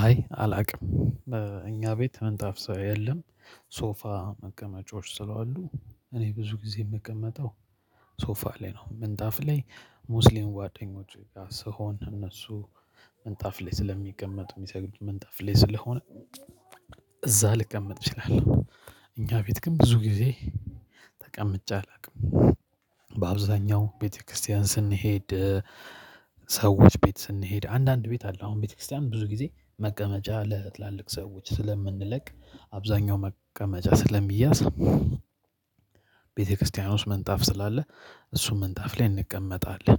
አይ አላውቅም እኛ ቤት ምንጣፍ ሳለሌለ ሶፋ መቀመጫዎች ስለሆኑ እኔ ብዙ ጊዜ የምቀመጠው ሶፋ ላይ ነው። ምንጣፍ ላይ ሙስሊም ጓደኞቼ ጋር ስሆን እነሱ ምንጣፍ ላይ ስለሚቀመጡ የሚሰግዱ ምንጣፍ ላይ ስለሆነ እዛ ልቀመጥ እችላለሁ። እኛ ቤት ግን ብዙ ጊዜ ተቀምጬ አላውቅም። በአብዛኛው ቤተክርስቲያን ስንሄድ ሰዎች ቤት ስንሄድ አንዳንድ ቤት አለ አሁን ቤተክርስቲያን ብዙ ጊዜ መቀመጫ ለትላልቅ ሰዎች ስለምንለቅ አብዛኛው መቀመጫ ስለሚያዝ። ቤተክርስቲያን ውስጥ ምንጣፍ ስላለ እሱ ምንጣፍ ላይ እንቀመጣለን።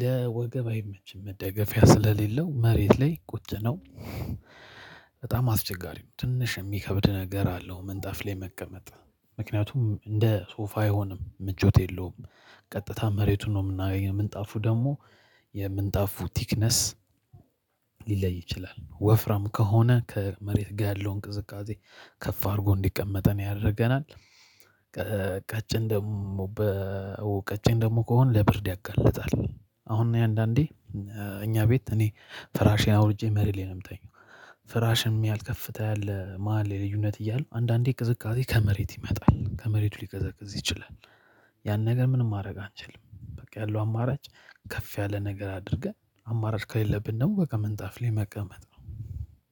ለወገብ አይመችም መደገፊያ ስለሌለው መሬት ላይ ቁጭ ነው። በጣም አስቸጋሪው ትንሽ የሚከብድ ነገር አለው ምንጣፍ ላይ መቀመጥ ምክንያቱም እንደ ሶፋ አይሆንም ምቾት የለውም። ቀጥታ መሬቱ ነው የምንጣፉ ደግሞ የምንጣፉ ቲክነስ ሊለይ ይችላል ወፍራም ከሆነ ከመሬት ጋር ያለው ቅዝቃዜ ከፍ አድርጎ እንዲቀመጠን ያደርገናል። ቀጭን ደግሞ በ ቀጭን ደግሞ ከሆነ ለብርድ ያጋልጣል። አሁን እኔ አንዳንዴ እኛ ቤት እኔ ፍራሼን አውርጄ መሬት ላይ ነው የምተኛው። ፍራሽም ያልከፍታ ያለ መሃል ላይ የልዩነት እያለ አንዳንዴ ቅዝቃዜ ከመሬት ይመጣል ከመሬቱ ሊቀዘቅዝ ይችላል። ያን ነገር ምንም ማድረግ አንችልም በቃ ያለው አማራጭ ከፍ ያለ ነገር አድርገን አማራጭ ከሌለብን ደግሞ በቃ ምንጣፍ ላይ መቀመጥ ነው።